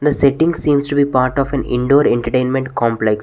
The setting seems to be part of an indoor entertainment complex.